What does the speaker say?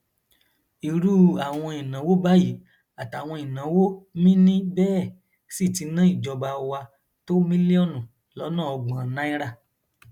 irú àwọn ìnáwó báyìí àtàwọn ìnáwó mínín bẹẹ sì ti ná ìjọba wa tó mílíọnù lọnà ọgbọn náírà